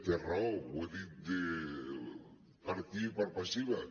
té raó ho he dit per activa i per passiva